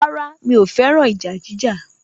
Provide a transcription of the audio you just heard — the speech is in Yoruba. Rárá, mi ò fẹ́ràn ìjà jíjà